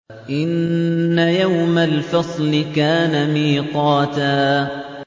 إِنَّ يَوْمَ الْفَصْلِ كَانَ مِيقَاتًا